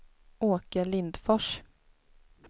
Åke Lindfors